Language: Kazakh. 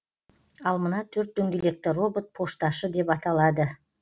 ал мына төрт дөңгелекті робот пошташы деп аталады